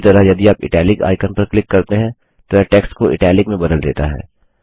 उसी तरह यदि आप इटालिक आइकन पर क्लिक करते हैं तो यह टेक्स्ट को इटालिक में बदल देता है